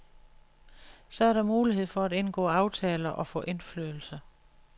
Så er der mulighed for at indgå aftaler og få indflydelse.